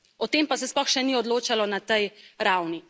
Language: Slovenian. O tem pa se sploh še ni odločalo na tej ravni.